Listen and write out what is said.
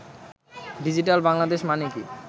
digital Bangladesh মানে কি